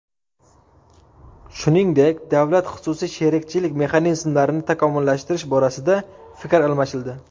Shuningdek, davlat-xususiy sherikchilik mexanizmlarini takomillashtirish borasida fikr almashildi.